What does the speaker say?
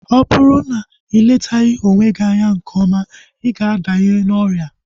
Ọ bụrụ na iletaghi onwe gị nke ọma, ịga adanye n'ọrịa